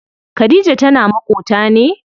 Khadija tana maƙota ne?